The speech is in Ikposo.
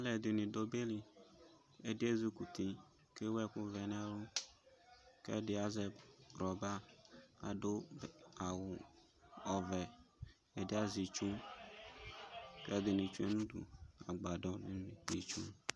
Alʋ ɛdɩnɩ dʋ ɔbɛ liƐdɩ ezikuti kewu ɛkʋ vɛ nɛlʋ, kɛdɩ azɛ rɔba kadʋ awʋ ɔvɛ, ɛdɩ azɛ itsu, kɛdɩnɩ tsue nudu agbadɔ